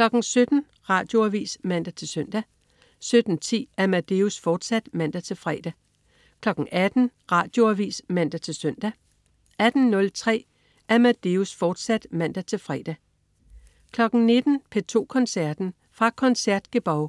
17.00 Radioavis (man-søn) 17.10 Amadeus, fortsat (man-fre) 18.00 Radioavis (man-søn) 18.03 Amadeus, fortsat (man-fre) 19.00 P2 Koncerten. Fra Concertgebouw.